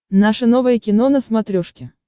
наше новое кино на смотрешке